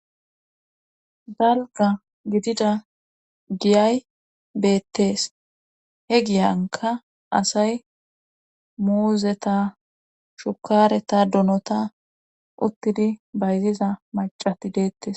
Dalga gidida giyay beettees he giyanka asay muuzeta shukareta dunota uttidi bayziza macati deettes